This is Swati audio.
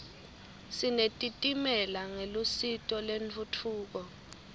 sinetitimela ngelusito lentfutfuko